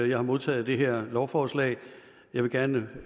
jeg har modtaget det her lovforslag og jeg vil gerne